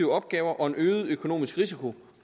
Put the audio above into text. opgaver og en øget økonomisk risiko